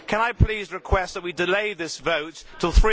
Can I please request that we delay this vote until